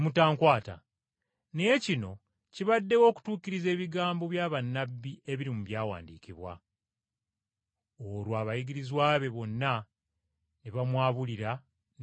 Naye kino kibaddewo okutuukiriza ebigambo bya bannabbi ebiri mu Byawandiikibwa.” Olwo abayigirizwa be bonna ne bamwabulira ne badduka.